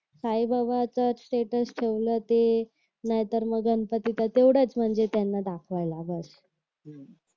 साई बाबाचा स्टेटस ठेवला ते नाहीतर मग गणपतीचा तेवढाच म्हणजे त्यांना दाखवायला बस